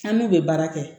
An n'u bɛ baara kɛ